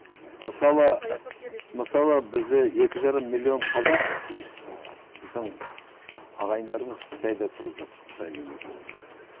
мысалы мысалы бізде екі жарым миллион қазақ ііі біздің ағайындарымыз қытайда тұрып жатыр қытай мемлекетінде